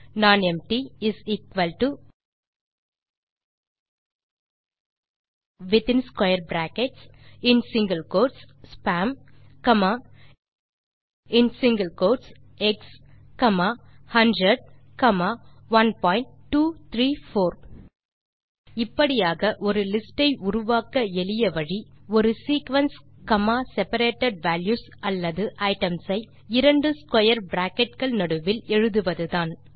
nonempty is equal to within square brackets மற்றும் in single quotes spam comma within single quotes X comma 100 comma 1234 இப்படியாக ஒரு list ஐ உருவாக்க எளிய வழி ஒரு சீக்வென்ஸ் comma செபரேட்டட் வால்யூஸ் அல்லது ஐட்டம்ஸ் ஐ இரண்டு ஸ்க்வேர் பிராக்கெட் கள் நடுவில் எழுதுவதுதான்